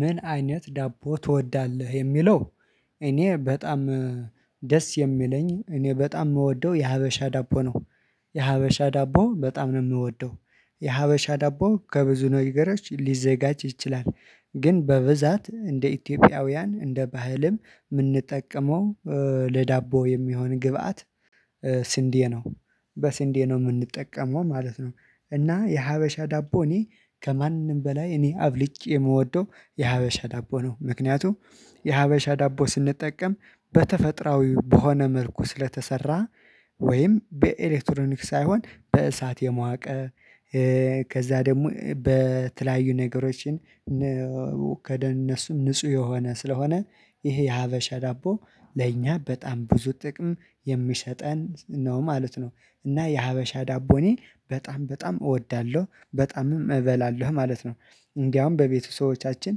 ምን አይነት ዳቦ ትወዳለህ የሚለው? እኔ በጣም ደስ የሚለኝ እኔ በጣም ምወደው የሀበሻ ዳቦ ነው። የሀበሻ ዳቦ በጣም ነው የምወደው የሀበሻ ዳቦ ከብዙ ነገሮች ሊዘጋጅ ይችላል። ግን በብዛት እንደ ኢትዮጵያውያን እንደ ባህልም የምንጠቀመው ለዳቦ የሚሆን ግብአት። ስንዴ ነው በስንዴ ነው የምንጠቀመው ማለት ነው። እና የሀበሻ ዳቦ እኔ ከማንም በላይ እኔ አብልጬ የምወደው የሀበሻ ዳቦ ነው። ምክንያቱም የሀበሻ ዳቦ ስንጠቀም በተፈጥሮአዊ በሆነ መልኩ ስለተሰራ ወይም በኤሌክትሮኒክ ሳይሆን በእሳት የሞቀ። ከዛ ደግሞ በተለያዩ ነገሮችን። እነሱም ንጹህ የሆነ ስለሆነ ይሄ የሀበሻ ዳቦ ለእኛ በጣም ብዙ ጥቅም የሚሰጠን ነው ማለት ነው። እና የሀበሻ ዳቦ እኔ በጣም በጣም እወዳለሁ በጣምም እበላለሁ ማለት ነው። እንዳውም በቤተ ሰቦዎቻችን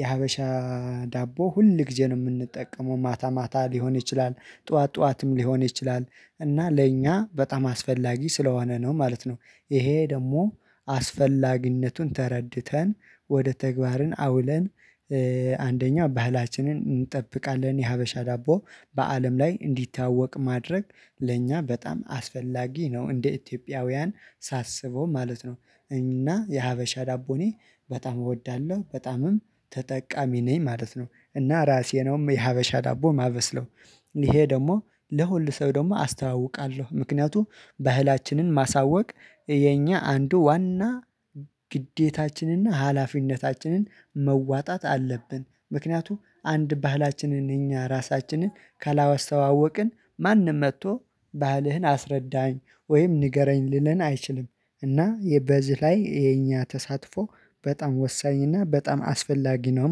የሀበሻ ዳቦ ሁል ግዜ ነው የምንጠቀመው ማታ ማታ ሊሆን ይችላል። ጥዋት ጥዋትም ሊሆን ይችላል። እና ለእኛ በጣም አስፈላጊ ስለሆነ ነው ማለት ነው። ይሄ ደግሞ አስፈላጊነቱን ተረድተን ወደ ተግባርን አውለን አንደኛ ባህላችንን እንጠብቃለን የሀበሻ ዳቦ በአለም ላይ እንዲታወቅ ማድረግ ለእኛ በጣም አስፈላጊ ነው እንደ ኢትዮጵያውያን ሳስበው ማለት ነው። እና የሀበሻ ዳቦ እኔ በጣም እወዳለሁ በጣምም ተጠቃሚ ነኝ ማለት ነው። እና ራሴ ነው የሀበሻ ዳቦ ማበስለው። ይሄ ደግሞ ለሁሉ ሰው ደግሞ አስተዋውቃለሁ። ምክንያቱም ባህላችንን ማሳወቅ የኛ አንዱ ዋና ግዴታችንና እና ሀላፊነታችንን መዋጣት አለብን ምክንያቱም አንድ ባህላችንን እኛ ራሳችንን ካላስተዋወቅን ማንም መጥቶ ባህልህን አስረዳኝ ወይም ንገረኝ ሊለን አይችልም። እና በዚህ ላይ የኛ ተሳትፎ በጣም ወሳኝ እና በጣም አስፈላጊ ነው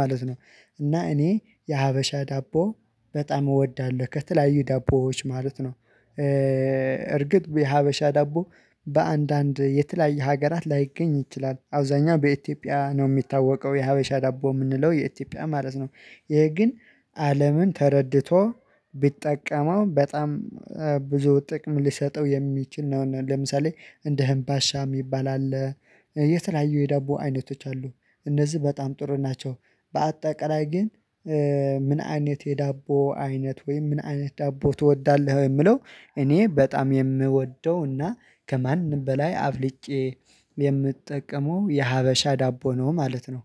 ማለት ነው። እና እኔ የሀበሻ ዳቦ በጣም እወዳለሁ ከተለላዩ ዳቦዎች ማለት ነው። እርግጥ የሀበሻ ዳቦ በአንዳንድ የተለያየ ሀገራት ላይገኝ ይችላል አብዛኛው በኢትዮጵያ ነው የሚታወቀው የሀበሻ ዳቦ የምንለው የኢትዮጵያ ማለት ነው። ይሄ ግን አለምን ተረድቶ ቢጠቀመው በጣም ብዙ ጥቅም ሊሰጠው የሚችል ነው። ለምሳሌ እንደ አምባሻ ሚባል አለ። የተለያዩ የዳቦ አይነቶች አሉ። እነዚህ በጣም ጥሩ ናቸው። በአጠቃላይ ግን ምን አይነት የዳቦ አይነት ወይም ምን አይነት ዳቦ ትወዳለህ የሚለው? እኔ በጣም የምወደው እና ከማንም በላይ አብልጨ የምጠቀመው የሀበሻ ዳቦ ነው ማለት ነው